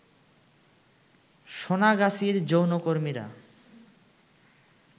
সোনাগাছির যৌনকর্মীরা